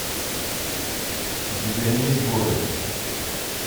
у тебя есть горы